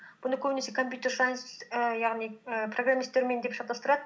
бұны көбінесе компьютер сайнс ііі яғни ііі програмисттермен деп шатастырады